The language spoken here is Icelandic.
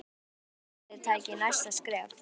Hvað þarf að gera til að liðið taki næsta skref?